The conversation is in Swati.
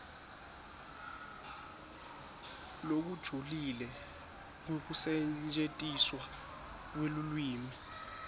lokujulile kwekusetjentiswa kwelulwimi